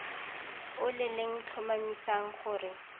o le le tlhomamisang gore